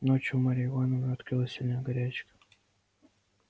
ночью у марьи ивановны открылась сильная горячка